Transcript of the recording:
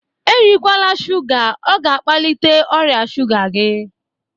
Erikwaala shuga! Ọ ga-akpalite ọrịa shuga gị